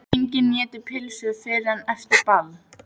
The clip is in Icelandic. Enginn étur pylsur fyrr en eftir ball.